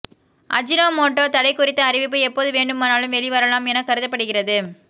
Ajinomoto தடை குறித்த அறிவிப்பு எப்போது வேண்டுமானாலும் வெளிவரலாம் என கருதப்படுகிறது